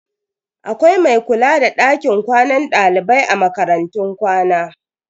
Akwai mai kula da dakin kwanan dalibai a makarantun kwana.